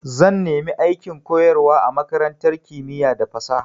Zan nemi aikin koyarwa a makarantar kimiya da fasaha.